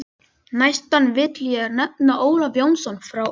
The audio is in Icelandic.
Næstan vil ég nefna Ólaf Jónsson frá Elliðaey.